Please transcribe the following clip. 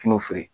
Tun feere